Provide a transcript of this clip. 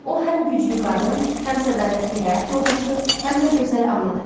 O həm güclü qadın, həm sədaqətli həyat yoldaşı, həm də gözəl anadır.